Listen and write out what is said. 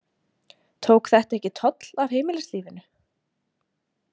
Tók þetta ekki toll af heimilislífinu?